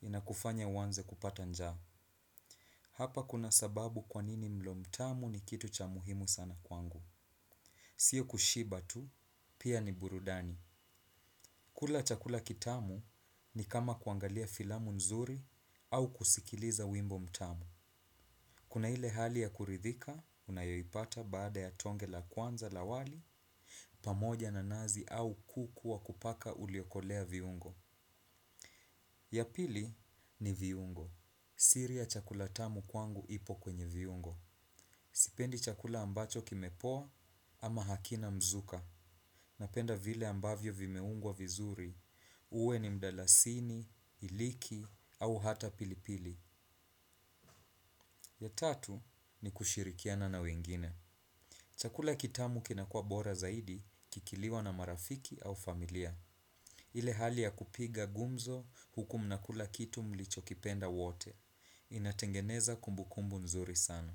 inakufanya uanze kupata njaa. Hapa kuna sababu kwanini mlo mtamu ni kitu cha muhimu sana kwangu. Sio kushiba tu, pia ni burudani. Kula chakula kitamu ni kama kuangalia filamu nzuri au kusikiliza wimbo mtamu. Kuna ile hali ya kuridhika, unayoipata baada ya tonge la kwanza la wali, pamoja na nazi au kuku wa kupaka uliokolea viungo. Ya pili ni viungo. Siri ya chakula tamu kwangu ipo kwenye viungo. Sipendi chakula ambacho kimepoa ama hakina mzuka. Napenda vile ambavyo vimeungwa vizuri. Uwe ni mdalasini, iliki au hata pilipili. Ya tatu ni kushirikiana na wengine. Chakula kitamu kinakuwa bora zaidi kikiliwa na marafiki au familia. Ile hali ya kupiga gumzo huku mnakula kitu mlichokipenda wote. Inatengeneza kumbukumbu nzuri sana.